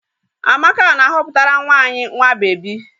Amaka na-aghoputara nwa anyị nwa bebi